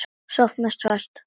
Sofna fast.